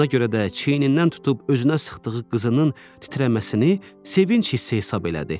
Buna görə də çiynindən tutub özünə sıxdığı qızının titrəməsini sevinc hissi hesab elədi.